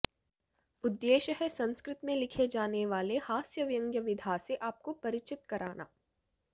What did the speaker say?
उद्येश्य है संस्कृत में लिखे जाने वाले हास्य व्यंग्य विधा से आपको परिचित कराना